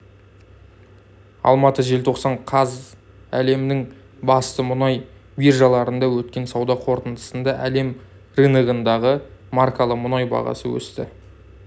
алматы желтоқсан қаз әлемнің басты мұнай биржаларында өткен сауда қортындысында әлем рыногындағы маркалы мұнай бағасы өсті